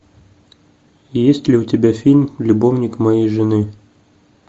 есть ли у тебя фильм любовник моей жены